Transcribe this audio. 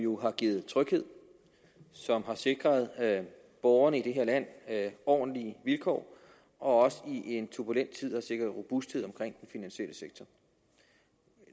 jo har givet tryghed og som har sikret borgerne i det her land ordentlige vilkår og også i en turbulent tid har sikret robusthed omkring finansielle sektor